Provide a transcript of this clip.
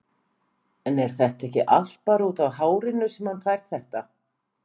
En er þetta ekki allt bara útaf hárinu sem hann fær þetta?